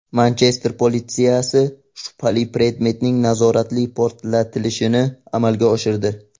Manchester politsiyasi shubhali predmetning nazoratli portlatilishini amalga oshirdi.